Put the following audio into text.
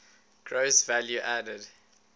gross value added